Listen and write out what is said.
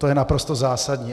To je naprosto zásadní.